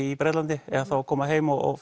í Bretlandi eða þá að koma heim og